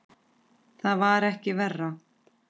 Það var ekki verra.